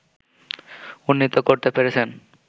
উন্নীত করতে পেরেছেন